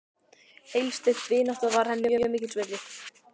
Heilsteypt vinátta var henni mjög mikils virði.